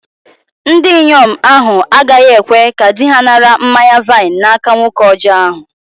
Ndinyom ahu agaghi-ekwe ka di-ha nara mmanya-vaịn n'aka nwoke ọjọ ahu